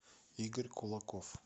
игорь кулаков